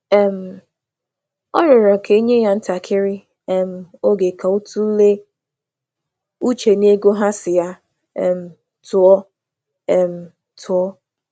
Ọ rịọrọ ka e nye ya ntakịrị oge ka ọ tụlee ihe ha chọrọ ka ọ nyere.